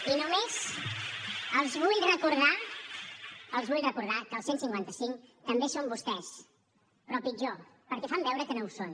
i només els vull recordar que el cent i cinquanta cinc també són vostès però pitjor perquè fan veure que no ho són